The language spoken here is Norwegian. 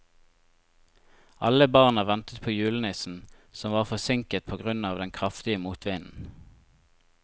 Alle barna ventet på julenissen, som var forsinket på grunn av den kraftige motvinden.